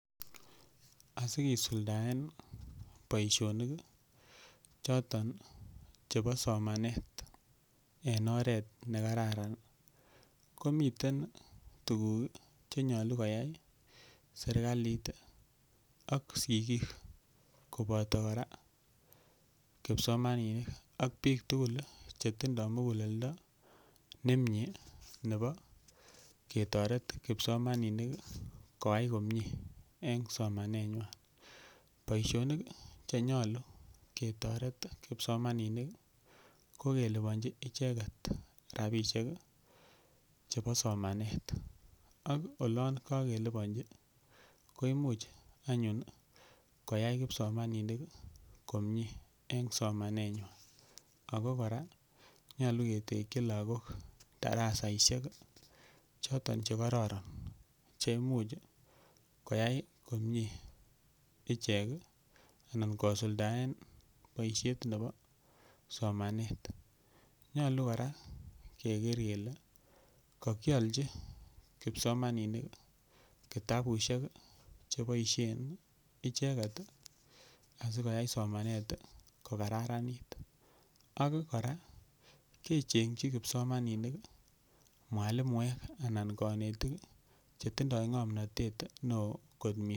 Asikisuldaen boisionik choton chebo somanet en oret ne kararan komiten tuguk che nyolu koyai serkalit ak sigik koboto kora kipsomaninik ak biik tugul che tindo muguleldo nemie nebo ketoret kipsomanninik koyae komie en somanet. Boisionik che nyolu ketoret kipsomaninik ko keliponji icheget rabishek chebo somanet. Ak olon kogeliponji koimuch anyun koyai kipsomaninik komie en somanenywan. Ago kora nyolu ketiki lagok darasaisiek choton che kororon che imuch koyai komie ichek anan kosuldaen boisiet nebo somanet. Nyolu kora keger kele kogiolchi kipsomaninik kitabusiek che boisien icheget asikoyai somanet kokararanit ak kora kechengi kipsomaninik mwalimuek anan konetik che tindo ng'omnatet neo.